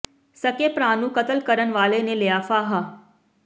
ਸਕੇ ਭਰਾ ਨੂੰ ਕਤਲ ਕਰਨ ਵਾਲੇ ਨੇ ਲਿਆ ਫ਼ਾਹਾ